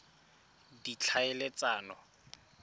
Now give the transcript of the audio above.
ditlhaeletsano